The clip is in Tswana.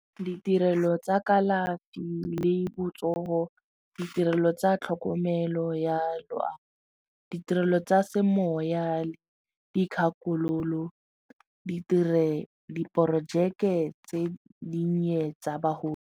Ditirelo tsa kalafi le botsogo, ditirelo tsa tlhokomelo ya loago, ditirelo tsa semoya, dikgakololo di dire diporojeke tse dinnye tsa bagolo.